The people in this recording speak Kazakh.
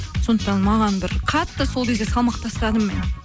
сондықтан маған бір қатты сол кезде салмақ тастадым мен